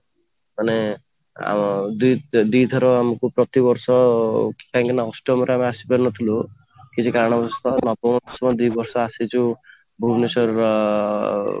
ମାନେ ଆଉ ଦିଥର ଆମକୁ ପ୍ରତିବର୍ଷ କାହିଁକି ନା ଅଂ ଅଷ୍ଟମ ରେ ଆସିପାରୁନଥିଲୁ କିଛି କାରଣ ବଶତଃ ନବମ ଦଶମ ଦି ବର୍ଷ ଆସିଛୁ ଭୁବନେଶ୍ୱର ଅଂ